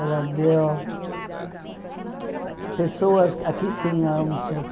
Ela deu... eh Pessoas... Aqui tinha um Seu